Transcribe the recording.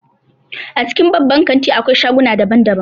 A cikin babban kanti akwai shaguna daban daban